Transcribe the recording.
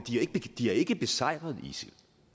de har ikke besejret isil